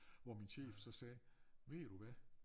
Hvor min chef så sagde ved du hvad